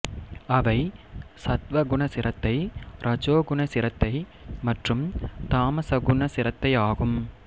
அவை சத்துவ குண சிரத்தை ரஜோகுண சிரத்தை மற்றும் தாமசகுண சிரத்தை ஆகும்